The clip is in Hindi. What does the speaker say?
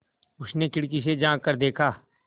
उसने खिड़की से झाँक कर देखा